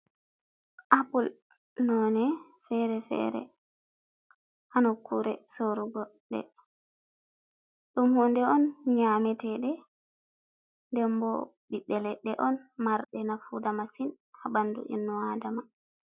Apple none fere-fere, ha nokkure sorugo de. Ɗum hunde on nyametede, dembo bibbe ledde on marde nafuda masin ha bandu innu aadama.